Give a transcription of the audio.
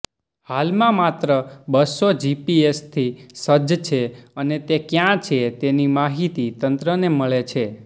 હાલમાં માત્ર બસો જીપીએસથી સજ્જ છે અને તે ક્યાં છે તેની માહિતી તંત્રને મળે છે